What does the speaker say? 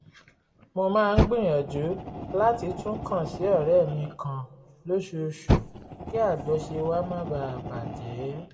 mo máa ń gbìyànjú láti tún kàn sí ọ̀rẹ́ mi kan lóṣooṣù kí àjọṣe wa má baà bà jẹ́